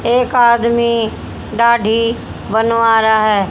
एक आदमी दाढ़ी बनवा रहा है।